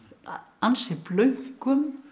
ansi